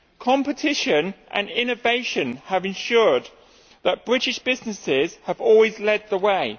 Competition and innovation have ensured that British businesses have always led the way.